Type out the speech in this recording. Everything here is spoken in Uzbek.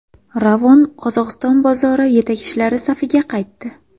Ravon Qozog‘iston bozori yetakchilari safiga qaytdi.